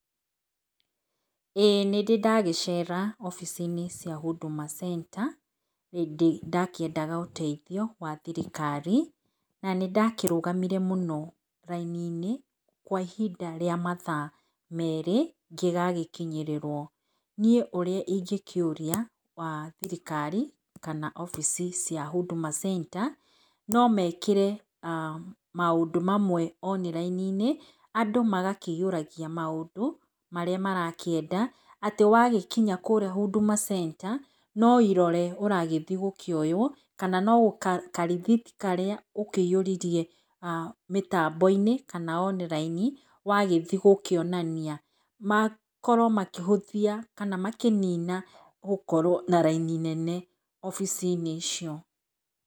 Ĩĩ nĩndĩ ndagĩcera obici-inĩ cia Huduma Center hĩndĩ ndakĩendaga ũteithio wa thirikari na nĩndakĩrũgamĩre mũno raĩnĩ-inĩ kwa ĩhinda rĩa mathaa merĩ ngĩgagĩkĩnyĩrĩrwo nĩe ũrĩa ĩngĩkĩuria wa thirikarĩ kana obici cia Huduma Center no mekĩre maũndũ mamwe online-inĩ andũ magakĩihũragia maũndũ marĩa marakĩenda atĩ wagĩkĩnya kũrĩa Huduma Center no ĩrore ũragĩthĩĩ gũkioywo kana no karíĩhĩti karĩa ũkĩihũririe mĩtambo-inĩ kana online wagĩthĩĩ gũkĩonania makorwo makĩhũthia kana kũnina gũkorwo na raĩnĩ nene obici-inĩ icio.